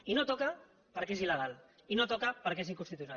i no toca perquè és il·legal i no toca perquè és inconstitucional